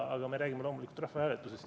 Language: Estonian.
Aga me räägime loomulikult rahvahääletusest.